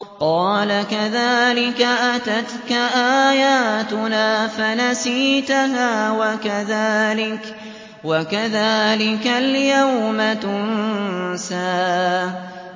قَالَ كَذَٰلِكَ أَتَتْكَ آيَاتُنَا فَنَسِيتَهَا ۖ وَكَذَٰلِكَ الْيَوْمَ تُنسَىٰ